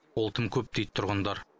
ол тым көп дейді тұрғындар